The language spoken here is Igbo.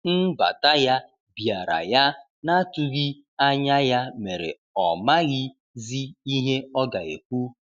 Nbata ya biara ya na atughi anya ya mere ọ maghi zi ihe ọga ekwụ.